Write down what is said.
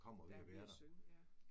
Der er ved at synge ja